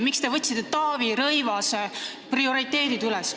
Miks te võtsite üle Taavi Rõivase prioriteedid?